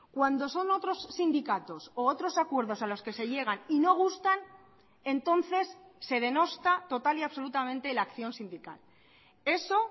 cuando son otros sindicatos u otros acuerdos a los que se llegan y no gustan entonces se denosta total y absolutamente la acción sindical eso